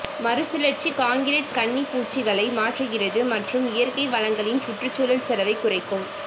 மறுசுழற்சி கான்கிரீட் கன்னி பூச்சுகளை மாற்றுகிறது மற்றும் இயற்கை வளங்களின் சுற்றுச்சூழல் செலவைக் குறைக்கும்